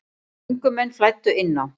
Göngumenn flæddu inn á